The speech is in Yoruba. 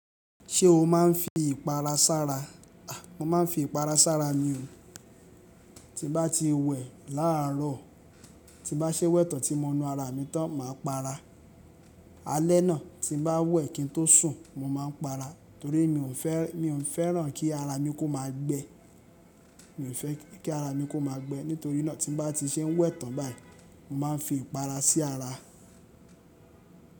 Ṣé o máa ń fi ìpara sára? A, mo ma ń fi ìpara sára mi o. Ti bá ti wẹ̀ láàárọ̀, tí bá ṣe wẹ̀ tán tí mo nu ara mi tán, màá para. Alẹ́ náà tí bá wẹ̀ kí n tó sùn, mo máa ń para torí mi ò fẹ́, mi ò fẹ́ràn kí ara mi kó máa gbẹ. Mi ò fẹ́ kí ara mi kó máa gbẹ nítorí náà tí bá ti ṣe wẹ̀ tán báyìí, mo máa ń fi ìpara sí ara.